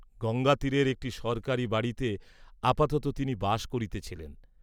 গঙ্গাতীরের একটী সরকারী বাড়ীতে আপাততঃ তিনি বাস করিতেছিলেন।